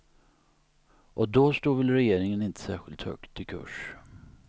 Och då stod väl regeringen inte särskilt högt i kurs.